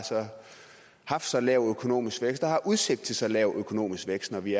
haft så lav en økonomisk vækst og har udsigt til så lav økonomisk vækst når vi